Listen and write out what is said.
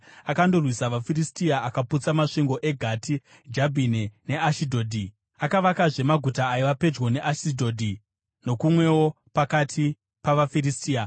Akandorwisa vaFiristia akaputsa masvingo eGati, Jabhine neAshidhodhi. Akavakazve maguta aiva pedyo neAshidhodhi nokumwewo pakati pavaFiristia.